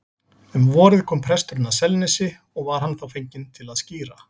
Um vorið kom presturinn að Selnesi og var hann þá fenginn til að skíra.